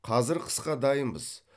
қазір қысқа дайынбыз